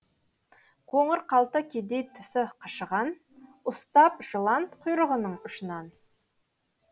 қоңыр қалта кедей тісі қышыған ұстап жылан құйрығының ұшынан